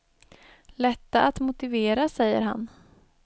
Lätta att motivera, säger han.